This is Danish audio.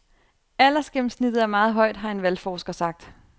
Aldersgennemsnittet er meget højt, har en valgforsker sagt.